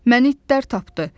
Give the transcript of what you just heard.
Məni itlər tapdı.